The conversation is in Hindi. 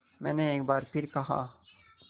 मैंने एक बार फिर कहा